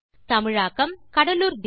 தமிழாக்கம் கடலூர் திவா